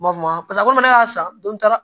N b'a fɔ paseke komi ne y'a san don taara